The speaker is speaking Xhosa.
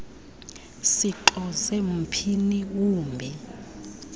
sixoze mphini wumbi